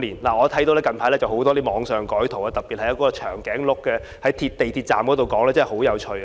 我看到最近網上有很多改圖，特別是一隻長頸鹿在地鐵站的那一幅，實在十分有趣。